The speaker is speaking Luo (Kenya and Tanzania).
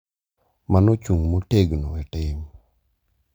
Mano ochung’ motegno e tim,